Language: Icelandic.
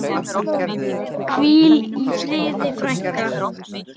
Hvíl í friði, frænka.